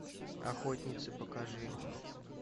охотницы покажи